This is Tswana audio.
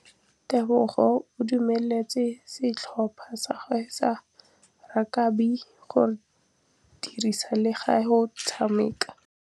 Tebogô o dumeletse setlhopha sa gagwe sa rakabi go dirisa le galê go tshameka.